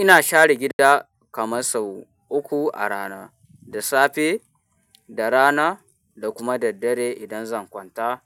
Ina share gida kamar sau uku a rana, da safe, da rana da kuma daddare idan zan kwanta,